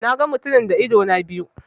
Na ga mutumin da idona biyu.